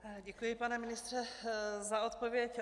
Děkuji, pane ministře za odpověď.